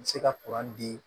N bɛ se ka di